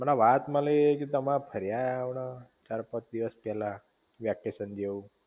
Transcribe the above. અલા વાત મળી કે તમે ફરી આયા હમણાં ચાર પાંચ દિવસ પેલા વેકેશન જેવું